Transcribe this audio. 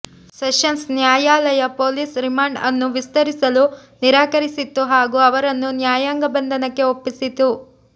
sessions ನ್ಯಾಯಾಲಯ police remand ಅನ್ನು ವಿಸ್ತರಿಸಲು ನಿರಾಕರಿಸಿತ್ತು ಹಾಗೂ ಅವರನ್ನು ನ್ಯಾಯಾಂಗ ಬಂಧನಕ್ಕೆ ಒಪ್ಪಿಸಿತ್ತು